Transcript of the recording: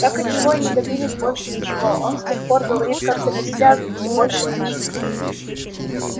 так от него и не добились больше ничего он с тех пор говорит как-то бессвязно все больше мычит